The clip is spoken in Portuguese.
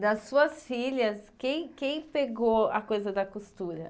Das suas filhas, quem quem pegou a coisa da costura?